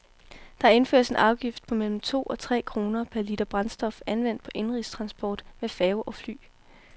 Der indføres en afgift på mellem to og tre kroner per liter brændstof anvendt på indenrigstransport med færge og fly.